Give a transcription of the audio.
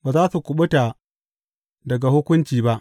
Ba za su kuɓuta daga hukunci ba.